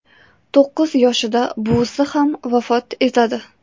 To‘qqiz yoshida buvisi ham vafot yetadi.